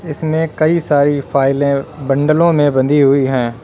इसमें कई सारी फाइलें बंडलों में बंधी हुई हैं।